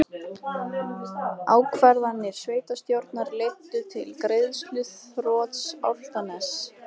Ákvarðanir sveitarstjórnar leiddu til greiðsluþrots Álftaness